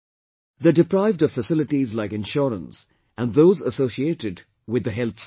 They are deprived of facilities like insurance and those associated with health sector